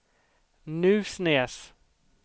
Nusnäs